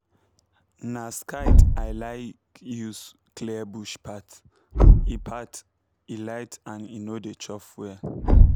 na scythe i like use clear bush path—e path—e light and e no dey chop fuel